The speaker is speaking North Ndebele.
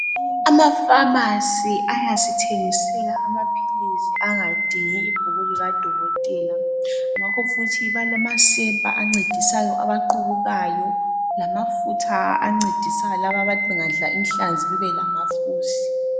Amafamasi ayasithengisela amaphilisi angadingi ibhuku likadokotela ngakho futhi balamasepa ancedisa abaqubukayo lamafutha ancedisa laba abathi bengadla inhlanzi bebe lamafusi.